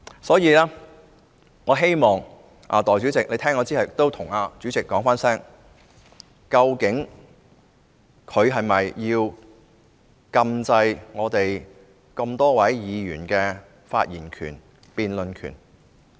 所以，我希望代理主席聽完我的發言後，代我詢問主席，究竟他是否要禁制我們這麼多議員的發言權、辯論權？